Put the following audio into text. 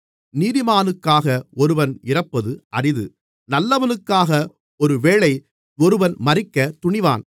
நீதிமானுக்காக ஒருவன் இறப்பது அரிது நல்லவனுக்காக ஒருவேளை ஒருவன் மரிக்கத் துணிவான்